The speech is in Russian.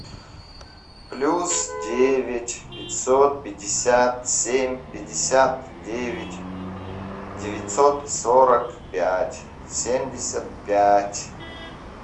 плюс девять пятьсот пятьдесят семь пятьдесят девять девятьсот сорок пять семьдесят пять